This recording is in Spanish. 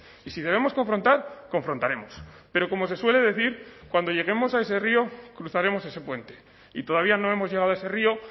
y si debemos confrontar confrontaremos pero como se suele decir cuando lleguemos a ese río cruzaremos ese puente y todavía no hemos llegado a ese río